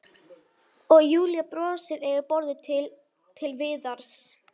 Og Júlía brosir yfir borðið til- Til Viðars.